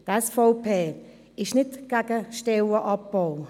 Die SVP ist nicht gegen Stellenabbau.